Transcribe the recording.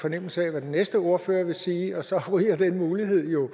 fornemmelse af hvad den næste ordfører vil sige og så ryger den mulighed jo